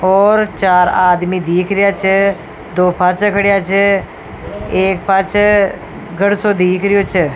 और चार आदमी दीख रिया छ दो पाछे खड़िया छ एक पाछे गढ़ सो दिख रिया छ।